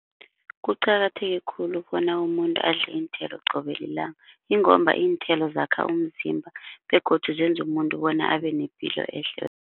Kuqakatheke khulu bona umuntu adle iinthelo qobe lilanga ingomba iinthelo zakha umzimba begodu zenza umuntu bona abe nepilo ehle.